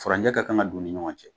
Faranjɛ ka kan ka don u ni ɲɔgɔn cɛ